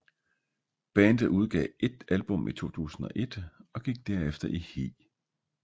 Bandet udgav ét album i 2001 og gik derefter i hi